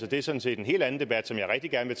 det er sådan set en helt anden debat som jeg rigtig gerne